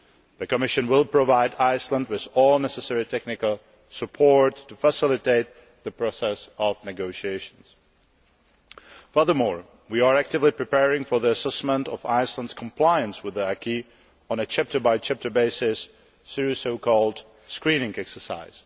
The Commission will provide Iceland with all necessary technical support to facilitate the process of negotiations. Furthermore, we are actively preparing for the assessment of Iceland's compliance with the acquis, on a chapter by chapter basis, through the so called screening exercise.